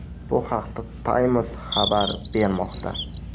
Bu haqda Times xabar bermoqda .